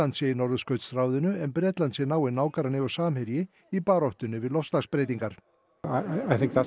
sé í Norðurskautsráðinu en Bretland sé náinn nágranni og samherji í baráttunni við loftslagsbreytingar